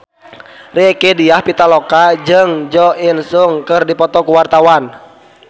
Rieke Diah Pitaloka jeung Jo In Sung keur dipoto ku wartawan